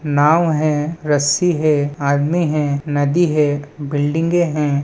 नाँव है रस्सी है आदमी है नदी है बिल्डिंगे हैं।